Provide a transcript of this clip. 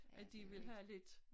At de vil have lidt